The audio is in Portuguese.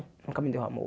Nunca me deu amor.